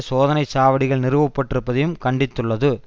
சோதனை சாவடிகள் நிறுவப்பட்டிருப்பதையும் கண்டித்துள்ளது